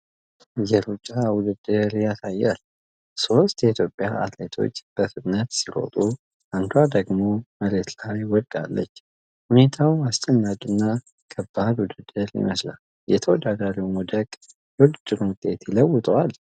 የሩጫ ውድድር ያሳያል። ሦስት የኢትዮጵያ አትሌቶች በፍጥነት ሲሮጡ፣ አንዷ ደግሞ መሬት ላይ ወድቃለች። ሁኔታው አስጨናቂ እና ከባድ ውድድር ይመስላል። የተወዳዳሪዋ መውደቅ የውድድሩን ውጤት ይለውጠዋል?